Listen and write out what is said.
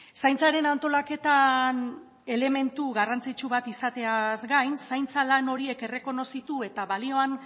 zaintzaren antolaketan elementu garrantzitsu bat izateaz gain zaintza lan horiek errekonozitu eta balioan